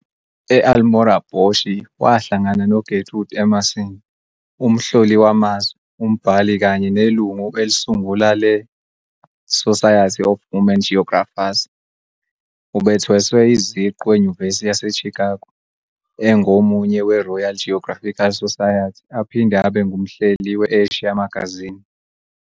E-Almora Boshi wahlangana no-Gertrude Emerson, umhloli wamazwe, umbhali kanye nelungu elisungula le- Society of Woman Geographers. Ubethweswe iziqu eNyuvesi yaseChicago, engomunye weRoyal Geographical Society aphinde abe ngumhleli we-Asia Magazine.